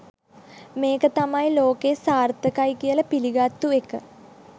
මේක තමයි ලෝකයේ සාර්ථකයි කියල පිළිගත්තු එක.